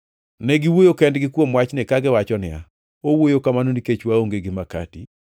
Ne giwuoyo kendgi kuom wachni kagiwacho niya, “Owuoyo kamano nikech waonge gi makati.”